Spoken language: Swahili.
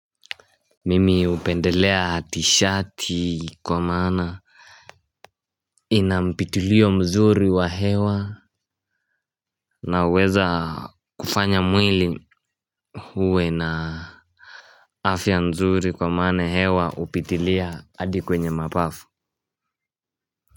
Mimi hupendelea t-shirt kwa maana inampitilio mzuri wa hewa. Na huweza kufanya mwili uwe na afya nzuri kwa maana hewa hupitilia hadi kwenye mapafu.